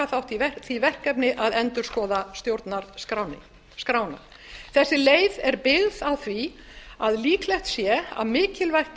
þátt í því verkefni að endurskoða stjórnarskrána þessi leið er byggð á því að líklegt sé að mikilvægt